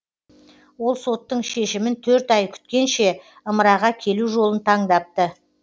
ол соттың шешімін төрт ай күткенше ымыраға келу жолын таңдапты